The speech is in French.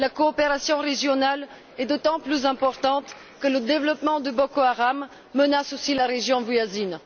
La coopération régionale est d'autant plus importante que le développement de Boko Haram menace aussi la région voisine.